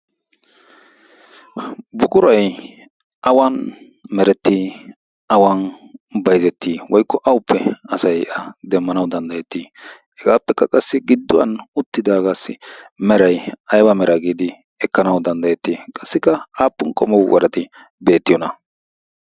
bugurai awan merettii awan bayzettii woikko awuppe asai a demmanau danddayettii? hegaappekka qassi gidduwan uttidaagaassi merai aiwa mera giidi ekkanawu danddayettii qassikka aappun qomou warati beettiyoona?